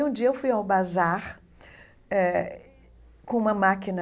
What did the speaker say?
E um dia eu fui ao bazar eh com uma máquina